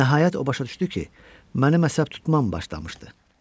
Nəhayət o başa düşdü ki, mənim əsəb tutmam başlamışdı.